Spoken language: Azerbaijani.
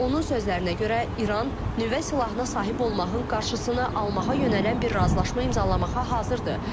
Onun sözlərinə görə İran nüvə silahına sahib olmağın qarşısını almağa yönələn bir razılaşma imzalamağa hazırdır.